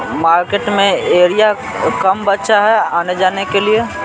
Market में area कम बचा है आने जाने के लिए।